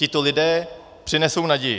Tito lidé přinesou naději.